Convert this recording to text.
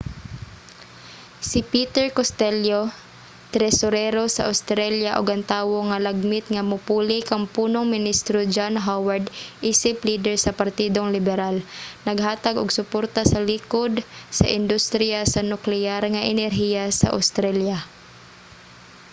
si peter costello tresurero sa australia ug ang tawo nga lagmit nga mopuli kang punong ministro john howard isip lider sa partidong liberal naghatag og suporta sa likod sa industriya sa nukleyar nga enerhiya sa australia